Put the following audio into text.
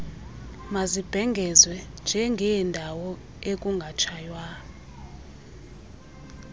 mazibhengezwe njengeendawo ekungatshaywa